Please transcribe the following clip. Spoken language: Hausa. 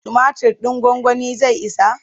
Tumatir ɗin gwagwanin zai isa?